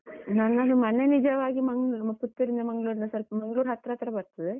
ನಮ್ಮದು ಮನೆ ನಿಜವಾಗಿ ಮಂಗ್ಳುರ್ Puttur ರಿಂದ Mangalore ಇಂದ ಸ್ವಲ್ಪ, Mangalore ಹತ್ರ ಹತ್ರ ಬರ್ತದೆ.